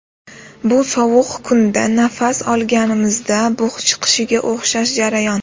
Bu sovuq kunda nafas olganimizda bug‘ chiqishiga o‘xshash jarayon.